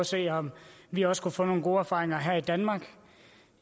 se om vi også kunne få nogle gode erfaringer her i danmark